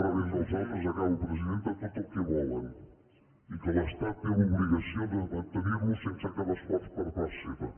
rebent dels altres acabo presidenta tot el que volen i que l’estat té l’obligació de mantenir los sense cap esforç per part seva